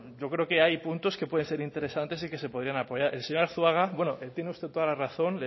yo creo que hay puntos que pueden ser interesantes y que se podrían apoyar el señor arzuaga bueno tiene usted toda la razón